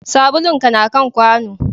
Sabulun ka na kan kwano